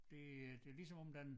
Det øh det ligesom om den